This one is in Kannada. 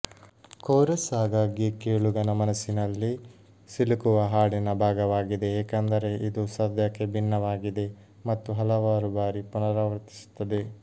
ಕೋರಸ್ ಆಗಾಗ್ಗೆ ಕೇಳುಗನ ಮನಸ್ಸಿನಲ್ಲಿ ಸಿಲುಕುವ ಹಾಡಿನ ಭಾಗವಾಗಿದೆ ಏಕೆಂದರೆ ಇದು ಪದ್ಯಕ್ಕೆ ಭಿನ್ನವಾಗಿದೆ ಮತ್ತು ಹಲವಾರು ಬಾರಿ ಪುನರಾವರ್ತಿಸುತ್ತದೆ